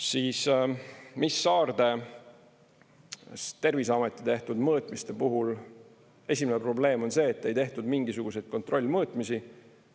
Siis, Saarde Terviseameti tehtud mõõtmiste puhul esimene probleem on see, et ei tehtud mingisuguseid kontrollmõõtmisi.